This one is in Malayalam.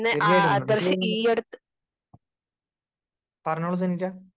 സ്പീക്കർ 1 തീർച്ചയായിട്ടും നമ്മുക്ക് പറഞ്ഞോളൂ സനീറ്റ